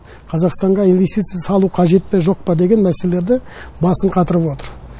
қазақстанға инвестиция салу қажет пе жоқ па деген мәселелерде басын қатырып отыр